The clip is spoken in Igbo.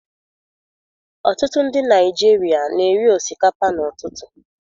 Ọtụtụ ndị Naigeria na eri osikapa n'ututu